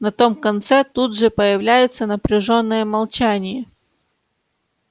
на том конце тут же появляется напряжённое молчании